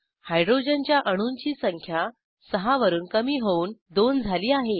हायड्रोजनच्या अणूंची संख्या 6 वरून कमी होऊन 2 झाली आहे